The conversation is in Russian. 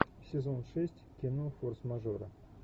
сезон шесть кино форс мажора